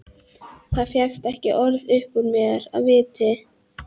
Það fékkst ekki orð upp úr mér af viti.